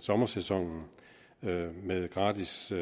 sommersæsonen med gratis